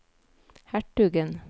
hertugen